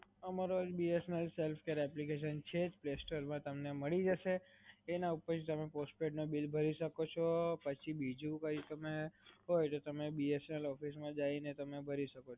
અમારા BSNL ની self-care application છે જ, play store માં તમને મળી જસે, એના ઉપરથી તમે postpaid ના બિલ ભરી શકો છો અને પછી બીજું કાઇ હોય તો તમે BSNL office માં જઈને તમે ભરી શકો.